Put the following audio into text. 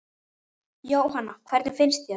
Jóhanna: Hvernig finnst þér?